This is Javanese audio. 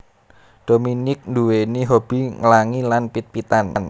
Dominique nduwèni hobby nglangi lan pit pitan